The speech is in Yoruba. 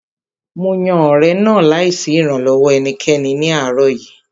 Mo yan ọ̀rẹ̀ náà láì sí ìrànlọ́wọ́ ẹnikẹ́ni ní àárọ̀ yìí